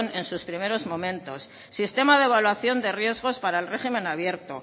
en sus primeros momentos sistema de evaluación de riesgos para el régimen abierto